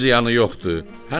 Heç ziyanı yoxdur,